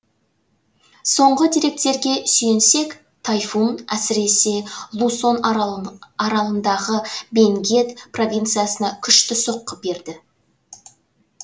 соңғы деректерге сүйенсек тайфун әсіресе лусон аралындағы бенгет провинциясына күшті соққы берді